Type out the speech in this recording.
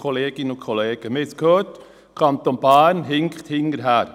Der Kanton Bern hinkt hinterher.